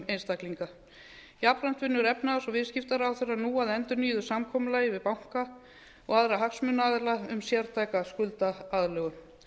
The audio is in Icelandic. einstaklinga jafnframt vinnur efnahags og viðskiptaráðherra nú að endursmíðuðu samkomulagi við banka og aðra hagsmunaaðila um sértæka skuldaaðlögun